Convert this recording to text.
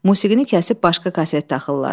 Musiqini kəsib başqa kaset taxırlar.